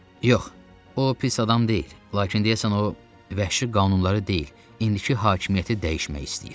Yox, o pis adam deyil, lakin deyəsən, o vəhşi qanunlara deyil, indiki hakimiyyəti dəyişmək istəyir.